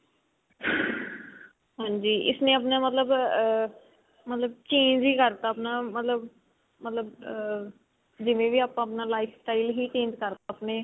ਹਾਂਜੀ ਇਸਨੇ ਆਪਣਾ ਮਤਲਬ ਅਮ ਮਤਲਬ change ਹੀ ਕਰਤਾ ਆਪਣਾ ਮਤਲਬ ਮਤਲਬ ਅਹ ਜਿਵੇਂ ਹੀ ਆਪਾਂ ਆਪਣਾ life ਹੀ change ਕਰਤਾ